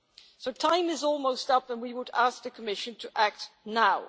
So time is almost up, and we would ask the Commission to act now.